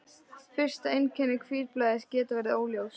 Fyrsta einkenni hvítblæðis geta verið óljós.